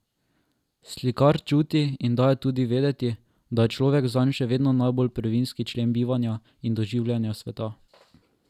Slikar čuti in daje tudi vedeti, da je človek zanj še vedno najbolj prvinski člen bivanja in doživljanja sveta.